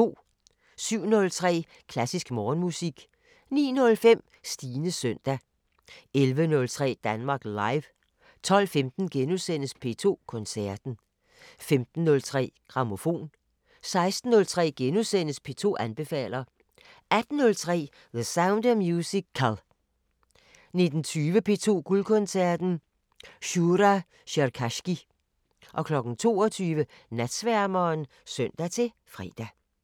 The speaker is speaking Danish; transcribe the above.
07:03: Klassisk Morgenmusik 09:05: Stines søndag 11:03: Danmark Live 12:15: P2 Koncerten * 15:03: Grammofon 16:03: P2 anbefaler * 18:03: The Sound of Musical 19:20: P2 Guldkoncerten: Shura Cherkassky 22:00: Natsværmeren (søn-fre)